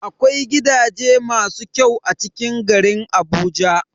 Akwai gidaje masu kyau a cikin garin Abuja.